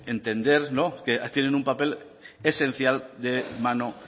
entender que tienen un papel esencial de mano